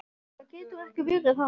Nei, það getur ekki verið hann.